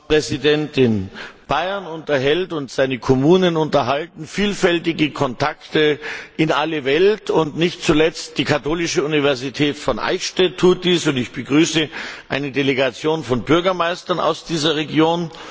Frau Präsidentin! Bayern unterhält und seine Kommunen unterhalten vielfältige Kontakte in alle Welt, und nicht zuletzt die Katholische Universität von Eichstätt tut dies, und ich begrüße eine Delegation von Bürgermeistern aus dieser Region.